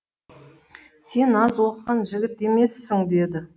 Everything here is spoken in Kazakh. сен аз оқыған жігіт емессің деді